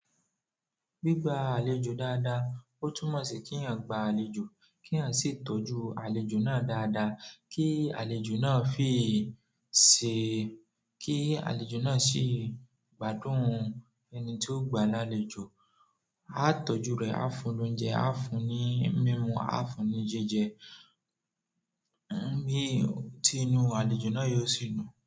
Gbigba àlejò dáadáa, ó túmọ̀ sí kí èèyàn gba àlejò, kí èèyàn sì tọ́jú àlejò náà dáadáa, kí àlejò náà sì gbádùn ẹni tí ó gba lálejò. A tọ́jú rẹ̀, a fún lóúnjẹ, a fún ní mímu, a fún ní jíjẹ, bí i tí inú àlejò náà yóò sì dùn.